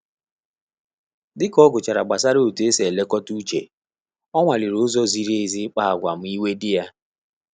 Dịka ọ gụchara gbasara otú esi elekọta mmetụta uche, ọ nwa liri ụzọ ziri ezi ikpa agwa ma iwe dị ya